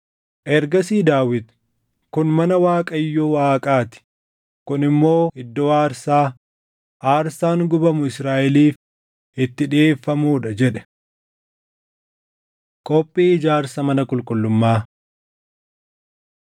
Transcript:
Ergasii Daawit, “Kun mana Waaqayyo Waaqaa ti; kun immoo iddoo aarsaa, aarsaan gubamu Israaʼeliif itti dhiʼeeffamuu dha” jedhe. Qophii Ijaarsa Mana Qulqullummaa